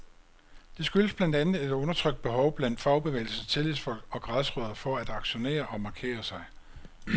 Det skyldes blandt andet et undertrykt behov blandt fagbevægelsens tillidsfolk og græsrødder for at aktionere og markere sig.